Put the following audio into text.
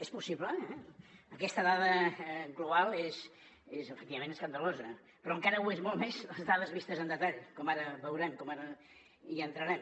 és possible aquesta dada global és efectivament escandalosa però encara ho són molt més les dades vistes en detall com ara veurem com ara hi entrarem